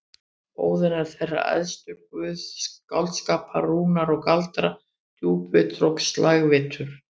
Óðinn er þeirra æðstur, guð skáldskapar, rúna og galdra, djúpvitur og slægvitur.